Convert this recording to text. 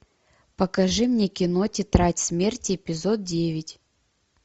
покажи мне кино тетрадь смерти эпизод девять